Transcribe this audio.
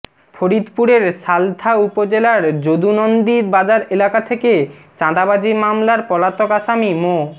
ফরিদপুরের সালথা উপজেলার যদুনন্দী বাজার এলাকা থেকে চাঁদাবাজি মামলার পলাতক আসামি মো